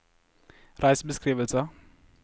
reisebeskrivelse